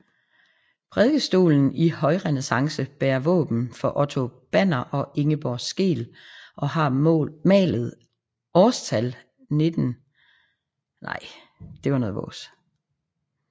Prædikestolen i højrenæssance bærer våben for Otto Banner og Ingeborg Skeel og har malet årstal 1579